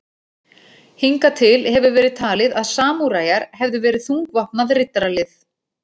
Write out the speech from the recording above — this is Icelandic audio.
Hingað til hefur verið talið að samúræjar hefðu verið þungvopnað riddaralið.